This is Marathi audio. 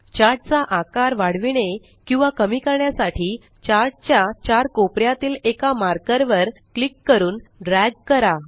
चार्ट चा आकार वाढविणे किंवा कमी करण्यासाठी चार्ट च्या चार कोपऱ्यातील एका मार्कर वर क्लिक करून ड्रॅग करा